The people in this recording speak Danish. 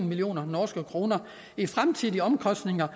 million norske kroner i fremtidige omkostninger